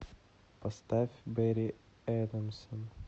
поставь бэрри эдэмсон